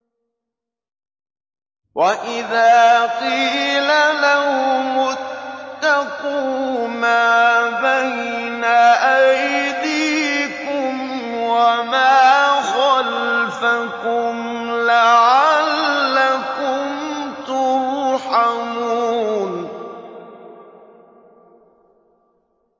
وَإِذَا قِيلَ لَهُمُ اتَّقُوا مَا بَيْنَ أَيْدِيكُمْ وَمَا خَلْفَكُمْ لَعَلَّكُمْ تُرْحَمُونَ